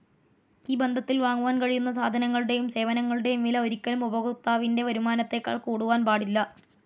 ഈ ബന്ധത്തിൽ വാങ്ങുവാൻ കഴിയുന്ന സാധനങ്ങളുടെയും സേവനങ്ങളുടെയും വില ഒരിക്കലും ഉപഭോക്താവിൻ്റെ വരുമാനത്തെക്കാൾ കൂടുവാൻ പാടില്ല.